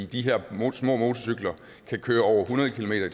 de her små motorcykler kan køre over hundrede kilometer